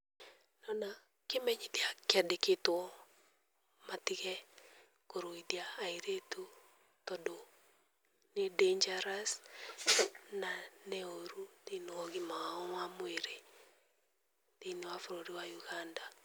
Ndĩrona kĩmenyithia kĩandĩkĩtwo matige kũruithia airĩtu, tondũ nĩ dangerous na nĩ ũru thĩ-inĩ wa ũgima wa o wa mwĩrĩ, thĩ-inĩ wa bũrũri wa Uganda.